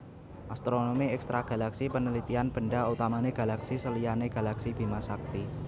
Astronomi Ekstragalaksi penelitian benda utamane galaksi seliyane galaksi Bimasakti